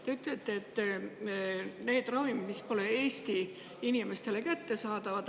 Te ütlesite, et need ravimid, mis pole Eesti inimestele kättesaadavad.